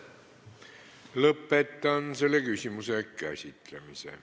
Lõpetan selle küsimuse käsitlemise.